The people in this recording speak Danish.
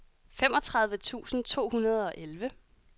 femogtredive tusind to hundrede og elleve